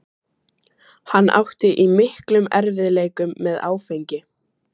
Hann átti í miklum erfiðleikum með áfengi.